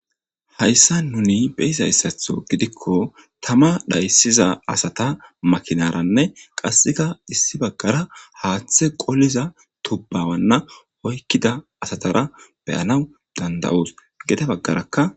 Hayssa nuni beyizayssatho gidikko tama dhayssiza asata makinaranne qasseka issi baggara haaththe qoliza tubbawanna oykkida asatara beyana danda7oos gede baggarakka.